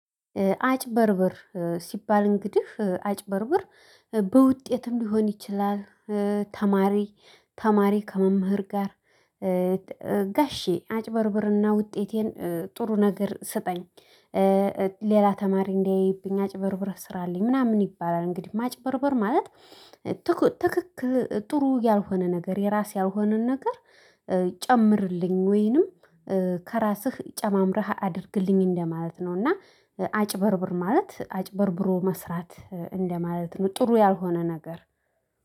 አጭበርብር ሲባል እንግዲህ አጭበርብር በውጤትም ሊሆን ይችላል። ተማሪ ተማሪ ከመምህር ጋር። ጋሼ አጭበርብርና ውጤቴን ጥሩ ነገር ስጠኝ ሌላ ተማሪ እንዳያይብኝ አጭበርብረህ ስራልኝ ምናምን ይባላል። እንግዲህ ማጭበርበር ማለት ትክክል ጥሩ ያልሆነ ነገር የራሴ ያልሆነን ነገር ጨምርልኝ ወይንም ከራስህ ጨማምረህ አድርግልኝ እንደማለት ነው። እና አጭበርብር ማለት አጭበርብሮ መስራት እንደማለት ነው። ጥሩ ያልሆነ ነገር